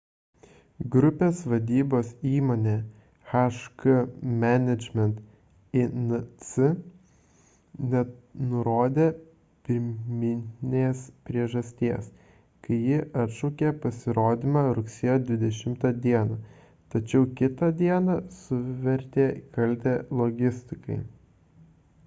grupės vadybos įmonė hk management inc nenurodė pirminės priežasties kai ji atšaukė pasirodymą rugsėjo 20 d tačiau kitą dieną suvertė kaltę logistikai